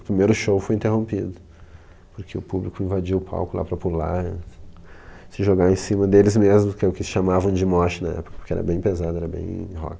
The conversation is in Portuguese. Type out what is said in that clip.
O primeiro show foi interrompido, porque o público invadiu o palco lá para pular, se jogar em cima deles mesmos, que é o que chamavam de mosh na época, porque era bem pesado, era bem rock.